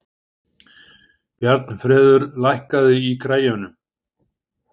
Bjarnfreður, lækkaðu í græjunum.